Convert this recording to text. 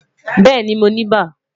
Bẹẹni, Mo ni iba